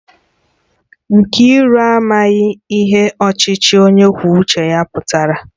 Nkiru amaghi ihe ochichi onye kwuo uche ya putara